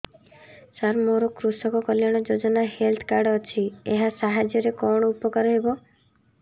ସାର ମୋର କୃଷକ କଲ୍ୟାଣ ଯୋଜନା ହେଲ୍ଥ କାର୍ଡ ଅଛି ଏହା ସାହାଯ୍ୟ ରେ କଣ ଉପକାର ହବ